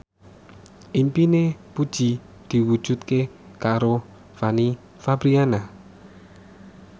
impine Puji diwujudke karo Fanny Fabriana